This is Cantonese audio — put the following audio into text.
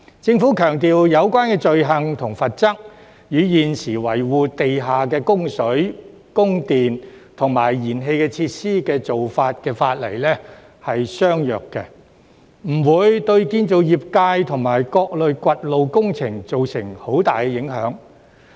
政府強調有關罪行和罰則，與現時維護地下的供水、供電和燃氣設施的法例相若，不會對建造業界和各類掘路工程造成很大影響。